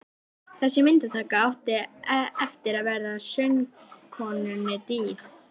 Þessi myndataka átti eftir að verða söngkonunni dýr.